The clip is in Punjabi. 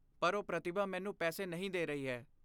ਪਰ ਉਹ ਪ੍ਰਤਿਭਾ ਮੈਨੂੰ ਪੈਸੇ ਨਹੀਂ ਦੇ ਰਹੀ ਹੈ।